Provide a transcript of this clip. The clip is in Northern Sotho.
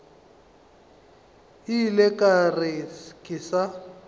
ile ka re ke sa